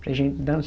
Para a gente